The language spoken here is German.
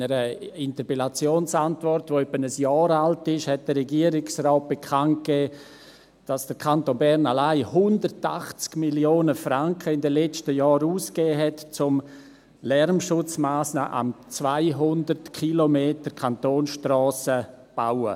In einer Interpellationsantwort die ungefähr ein Jahr alt ist, gab der Regierungsrat bekannt, dass der Kanton Bern in den letzten Jahren allein 180 Mio. Franken ausgegeben hatt, um Lärmschutzmassnahmen an 200 km Kantonsstrassen zu bauen.